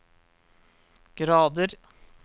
grader